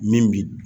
Min bi